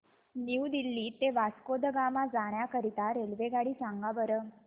new Delhi ते वास्को द गामा जाण्या करीता रेल्वेगाडी सांगा बरं